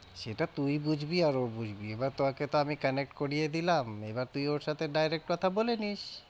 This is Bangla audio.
সেটা তুই বুঝবি আর ও বুঝবি এবার তোকে আমি connect করিয়ে দিলাম, এবার তুই ওর সাথে direct কথা বলে নিস।